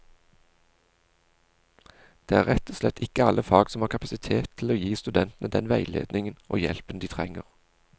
Det er rett og slett ikke alle fag som har kapasitet til å gi studentene den veiledningen og hjelpen de trenger.